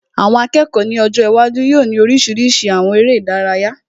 Àwọn akẹ́kọ̀ọ́ ní ọjọ́ iwájú yóò ní oríṣiríṣi àwọn eré ìdárayá